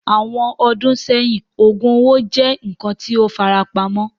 Awọn ọdun sẹhin, oogub owo jẹ nkan ti o farapamọ